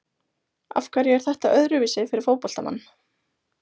Af hverju er þetta öðruvísi fyrir fótboltamann?